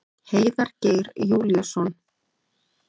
Heiðar Geir Júlíusson.